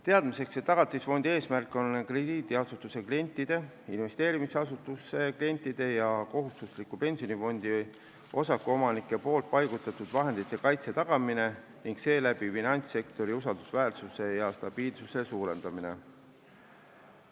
Teadmiseks, Tagatisfondi eesmärk on krediidiasutuse klientide, investeerimisasutuse klientide ja kohustusliku pensionifondi osakuomanike poolt paigutatud vahendite kaitse tagamine ning seeläbi finantssektori usaldusväärsuse ja stabiilsuse suurendamine.